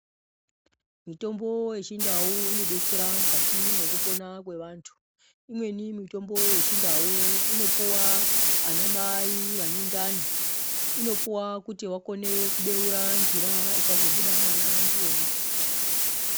Mitombo yechindau inodetsera mukati mwekupona kwevantu. Imweni mitombo yechindau inopuwa anamai vanendani, inopuwa kuti vakone kubeura njira ichazobuda mwana ndiyona.